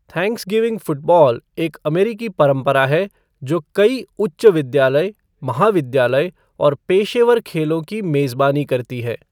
Thanksgiving football एक अमेरिकी परंपरा है जो कई उच्च विद्यालय, महाविद्यालय और पेशेवर खेलों की मेज़बानी करती है।